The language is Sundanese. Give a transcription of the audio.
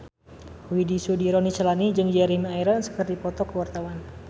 Widy Soediro Nichlany jeung Jeremy Irons keur dipoto ku wartawan